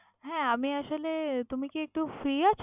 হ্যাঁ আমি আসলে, তুমি কি একটু free আছো?